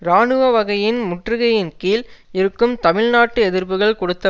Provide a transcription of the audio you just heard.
இராணுவ வகையில் முற்றுகையின்கீழ் இருக்கும் தமிழ் நாட்டு எதிர்ப்புக்கள் கொடுத்த